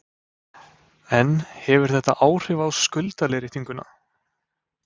En hefur þetta áhrif á skuldaleiðréttinguna?